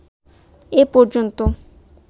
এ পর্যন্ত